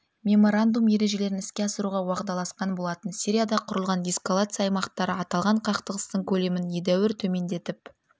меморандум ережелерін іске асыруға уағдаласқан болатын сирияда құрылған деэскалация аймақтары аталған қақтығыстың көлемін едәуір төмендетіп